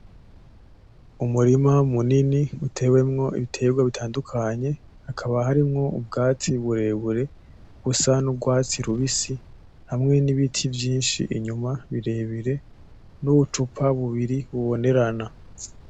Umurima munini utewemwo ibiterwa bitandukanye hakaba harimwo ubwatsi burebure busa n'urwatsi rubisi hamwe n'ibiti vyinshi birebire n'ubucupa bubiri bubonerana.